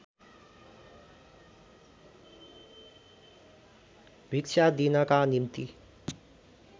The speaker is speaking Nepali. भिक्षा दिनका निम्ति